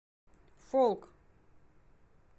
фолк